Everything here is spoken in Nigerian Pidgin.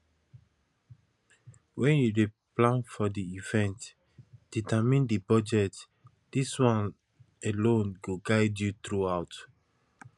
when you dey plan for di event determine di budget this one alone go guide you throughout